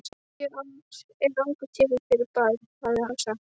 Tíu ár eru langur tími fyrir barn, hafði hann sagt.